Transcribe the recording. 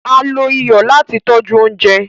Á ló iyọ lati tọ̀ju ọ̀unjẹ